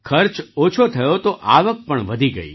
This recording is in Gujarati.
ખર્ચ ઓછો થયો તો આવક પણ વધી ગઈ